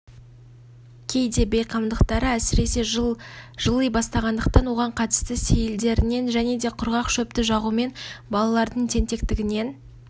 кейде бейқамдықтары әсіресе жыли бастағандықтан оған қатысты сейілдерінен және де құрғақ шөпті жағумен балалардың тентектігінен